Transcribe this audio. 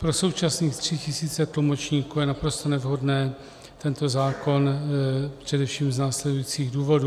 Pro současných tři tisíce tlumočníků je naprosto nevhodný tento zákon především z následujících důvodů.